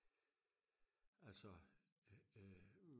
altså øh øh